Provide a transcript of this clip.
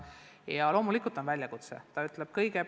Ja loomulikult on see väljakutse.